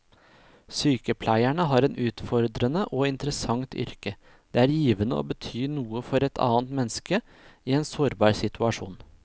Sykepleierne har et utfordrende og interessant yrke, det er givende å bety noe for et annet menneske i en sårbar situasjon.